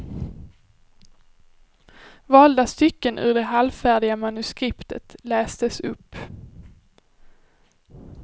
Valda stycken ur det halvfärdiga manuskriptet lästes upp.